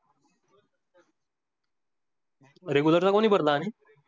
Regular चा कोनी भरला आनी?